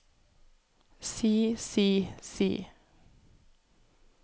si si si